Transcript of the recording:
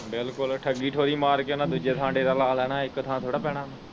ਬਿਲਕੁਲ ਠੱਗੀ ਠੋਰੀ ਮਾਰ ਕੇ ਉਹਨਾਂ ਦੂਜੇ ਥਾਂ ਡੇਰਾ ਲਾ ਲੈਣਾ ਇੱਕ ਥਾਂ ਥੋੜ੍ਹਾ ਬਹਿਣਾ।